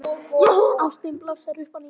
Ástin blossar upp að nýju.